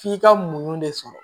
F'i ka muɲu de sɔrɔ